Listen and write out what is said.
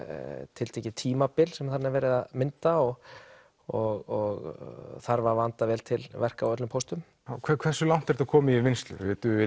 tiltekið tímabil sem þarna er verið að mynda og og þarf að vanda vel til verka á öllum póstum hversu langt er þetta komið í vinnslu